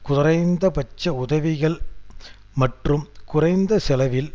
குறைந்த பட்ச உதவிகள் மற்றும் குறைந்த செலவில்